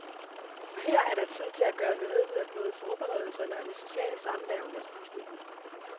For her er der tid til at gøre noget ud af både forberedelserne og det sociale samvær under spisningen.